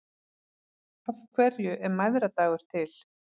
Af hverju er mæðradagur til?